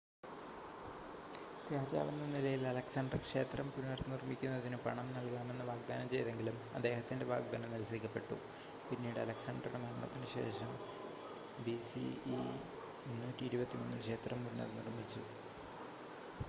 രാജാവെന്ന നിലയിൽ അലക്‌സാണ്ടർ ക്ഷേത്രം പുനഃനിർമ്മിക്കുന്നതിന് പണം നൽകാമെന്ന് വാഗ്‌ദാനം ചെയ്‌തെങ്കിലും അദ്ദേഹത്തിൻ്റെ വാഗ്‌ദാനം നിരസിക്കപ്പെട്ടു പിന്നീട് അലക്‌സാണ്ടറുടെ മരണത്തിന് ശേഷം ബിസിഇ 323-ൽ ക്ഷേത്രം പുനഃനിർമ്മിച്ചു